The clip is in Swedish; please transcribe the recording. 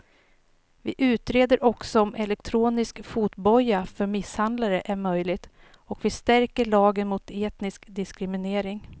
Vi utreder också om elektronisk fotboja för misshandlare är möjligt och vi stärker lagen mot etnisk diskriminering.